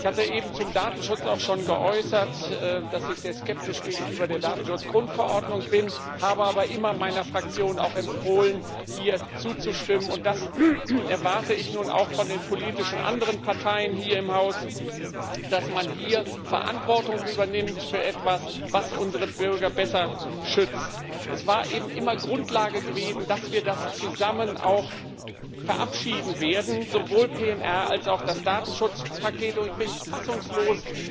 Ich hatte eben zum Datenschutz auch schon geäußert, dass ich sehr skeptisch gegenüber der Datenschutzgrundverordnung bin, habe aber meiner Fraktion auch immer empfohlen, hier zuzustimmen, und das erwarte ich nun auch von den anderen politischen Parteien hier im Haus dass man hier Verantwortung übernimmt für etwas, was unsere Bürger besser schützt. Es war eben immer Grundlage gewesen, dass wir das zusammen verabschieden werden sowohl PNR als auch das Datenschutzpaket und ich bin fassungslos